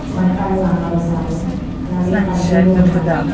బట్టలు ఆరేశారు అలాగే కడ్డీలు ఉన్నాయి.